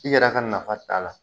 I yɛrɛ ka nafa t'a la.